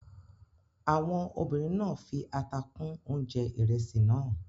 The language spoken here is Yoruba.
Àwọn obìnrin náà fi ata kún oúnjẹ ìrẹsì náà.